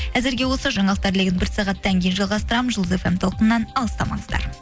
әзірге осы жаңалықтар легін бір сағаттан кейін жалғастырамын жұлдыз фм толқынынан алыстамаңыздар